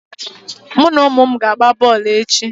Mụ na ụmụ m ga-agba bọọlụ echi.